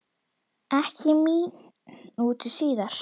Ekki mínútu síðar